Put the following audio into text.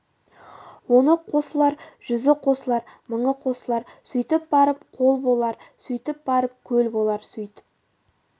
оны қосылар жүзі қосылар мыңы қосылар сөйтіп барып қол болар сөйтіп барып көл болар сөйтіп